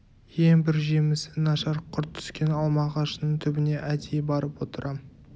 ең бір жемісі нашар құрт түскен алма ағашының түбіне әдейі барып отырам